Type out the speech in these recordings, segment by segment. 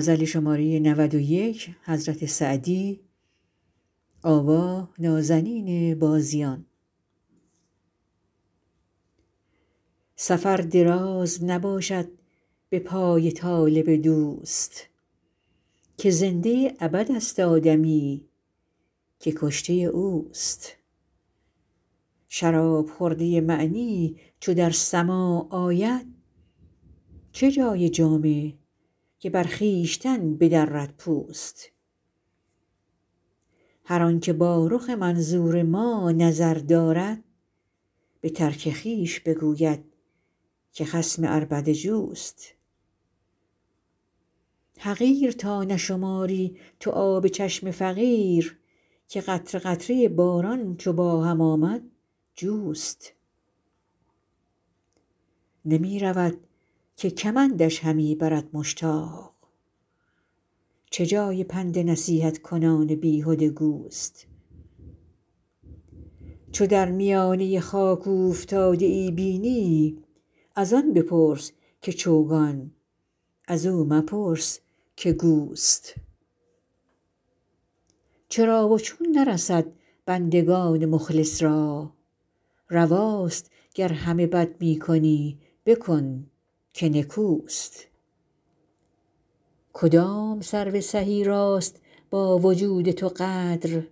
سفر دراز نباشد به پای طالب دوست که زنده ابدست آدمی که کشته اوست شراب خورده معنی چو در سماع آید چه جای جامه که بر خویشتن بدرد پوست هر آن که با رخ منظور ما نظر دارد به ترک خویش بگوید که خصم عربده جوست حقیر تا نشماری تو آب چشم فقیر که قطره قطره باران چو با هم آمد جوست نمی رود که کمندش همی برد مشتاق چه جای پند نصیحت کنان بیهده گوست چو در میانه خاک اوفتاده ای بینی از آن بپرس که چوگان از او مپرس که گوست چرا و چون نرسد بندگان مخلص را رواست گر همه بد می کنی بکن که نکوست کدام سرو سهی راست با وجود تو قدر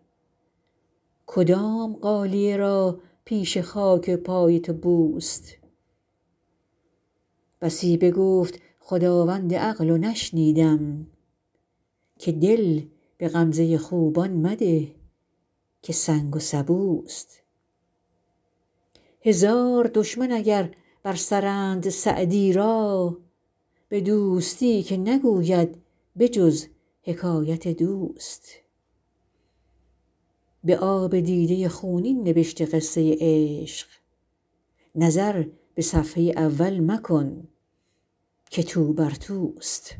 کدام غالیه را پیش خاک پای تو بوست بسی بگفت خداوند عقل و نشنیدم که دل به غمزه خوبان مده که سنگ و سبوست هزار دشمن اگر بر سرند سعدی را به دوستی که نگوید به جز حکایت دوست به آب دیده خونین نبشته قصه عشق نظر به صفحه اول مکن که توبر توست